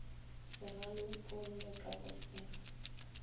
se rarollwe ka go se